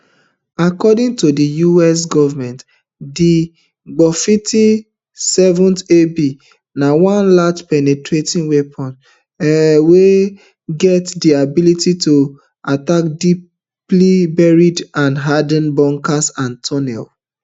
um according to di us government di gbufifty-sevenab na one large penetrating weapon um wey get di ability to attack deeply buried and hardened bunkers and tunnels